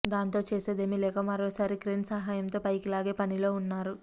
దాంతో చేసేదేమీ లేక మరోసారి క్రేన్ సాయంతో పైకి లాగే పనిలో ఉన్నారు